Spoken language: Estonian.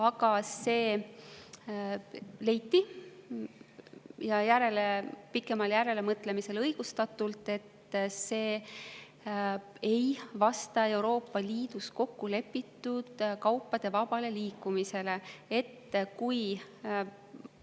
Aga leiti – ja pikemal järelemõtlemisel õigustatult –, et see ei vasta Euroopa Liidus kokku lepitud kaupade vaba liikumise.